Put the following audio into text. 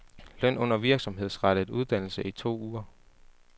Løn under virksomhedsrettet uddannelse i to uger.